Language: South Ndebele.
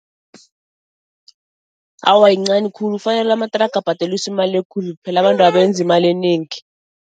Awa, yincani khulu fanele amathraga abhadeliswe imali ekhulu phela abantwaba benza imali enengi.